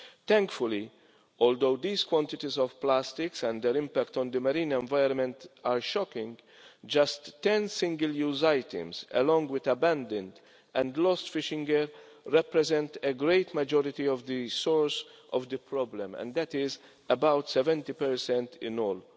Thankfully, although these quantities of plastic and their impact on the marine environment are shocking, just 10 single use items, along with abandoned and lost fishing gear, represent a great majority of the source of the problem and that is about 70 in all.